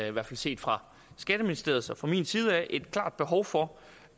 i hvert fald set fra skatteministeriets og min side et klart behov for